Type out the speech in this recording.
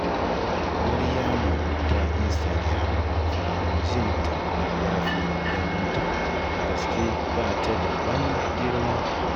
Maryama ta Instagiram fa jin ta ya fi ganinta, a gaske ba ta da wani girma